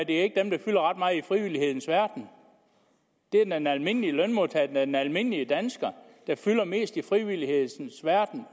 det er ikke dem der fylder ret meget i frivillighedens verden det er den almindelige lønmodtager den almindelige dansker der fylder mest udeomkring i frivillighedens verden